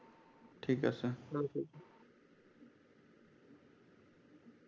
ঠিক আছে ভালো থাইকো।